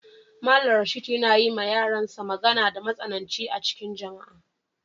Mallam Rashid yana yi ma yaran sa magana da matsananci a'cikin jama'a.